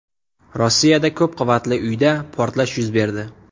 Rossiyada ko‘p qavatli uyda portlash yuz berdi.